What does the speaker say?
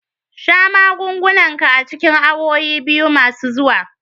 Sha magungunan ka a cikin awowi biyu masu zuwa.